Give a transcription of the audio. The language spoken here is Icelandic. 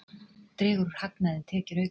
Dregur úr hagnaði en tekjur aukast